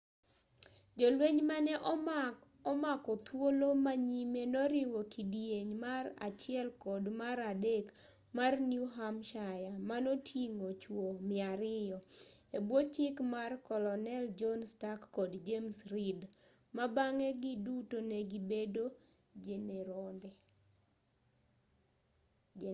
jolweny mane omako thuolo ma nyime noriwo kidieny mar 1 kod mar 3 mar new hampshire manoting'o chuo 200 e bwo chik mar kolonel john stark kod james reed ma bang'e giduto ne gibedo jeneronde